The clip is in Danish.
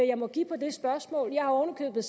jeg må give på det spørgsmål jeg har oven